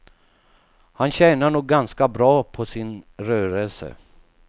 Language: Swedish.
Han tjänar nog ganska bra på sin rörelse.